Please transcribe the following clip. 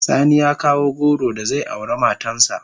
Sani ya kawo goro da zai aure matan sa.